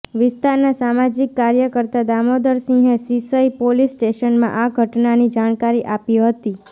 વિસ્તારના સામાજિક કાર્યકર્તા દામોદર સિંહે સિસઇ પોલીસ સ્ટેશનમાં આ ઘટનાની જાણકારી આપી હતી